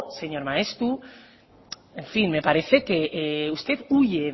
señor maeztu en fin me parece que usted huye